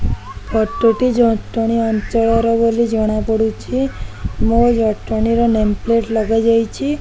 ଫଟ ଟି ଜଟଣୀ ଅଞ୍ଚଳ ର ବୋଲି ଜଣା ପଡୁଚି । ମୋ ଜଟଣୀ ର ନେମ୍ ପ୍ଲେଟ୍ ଲଗା ଯାଇଚି ।